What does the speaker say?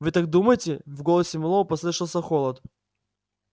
вы так думаете в голосе мэллоу послышался холод